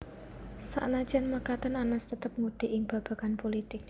Sanajan mekaten Anas tetep ngudi ing babagan pulitik